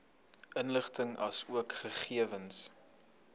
inligting asook gegewens